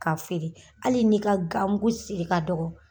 K'a feere hali n'i ka gamugu siri ka dɔgɔ